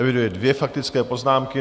Eviduji dvě faktické poznámky.